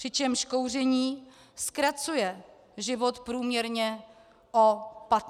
Přičemž kouření zkracuje život průměrně o 15 let.